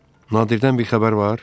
Nadirdən bir xəbər var?